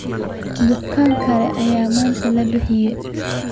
Bukaan kale ayaa maanta la bixiyay.